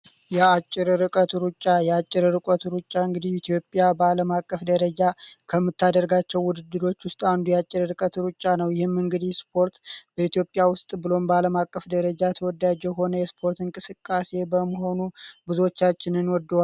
የአጭር ርቀት ሩጫ የአጭር ርቀት ሩጫ እንግዲህ ኢትዮጵያ በዓለም አቀፍ ደረጃ ከምታደርጋቸው ውድድሮች ውስጥ በኢትዮጵያ ውስጥ ብሎ ባለም አቀፍ ደረጃ ተወዳጁ ሆነ የስፖርት እንቅስቃሴ በመሆኑ ብዙዎቻችን እንወደዋለን